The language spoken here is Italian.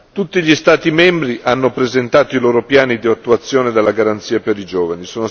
Tutti gli Stati membri hanno presentato i loro piani di attuazione della garanzia per i giovani.